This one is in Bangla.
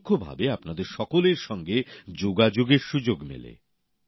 পরোক্ষভাবে আপনাদের সকলের সঙ্গে যোগাযোগের সুযোগ মেলে